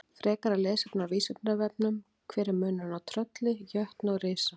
Frekara lesefni á Vísindavefnum: Hver er munurinn á trölli, jötni og risa?